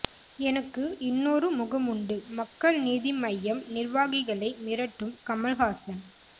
எனக்கு இன்னொரு முகம் உண்டு மக்கள் நீதி மய்யம் நிர்வாகிகளை மிரட்டும் கமலஹாசன்